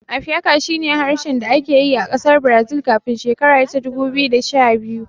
Apiaká shi ne harshen da ake yi a ƙasar Brazil kafin shekara ta dubu biyu da sha biyu